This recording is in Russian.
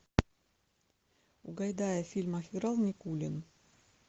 у гайдая в фильмах играл никулин